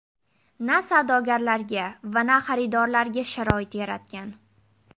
Na savdogarlarga va na xaridorlarga sharoit yaratgan.